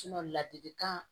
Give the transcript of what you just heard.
ladilikan